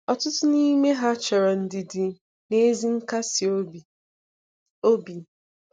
Ọtụtụ n'ime ha chọrọ ndidi na ezi nkasi obi. obi.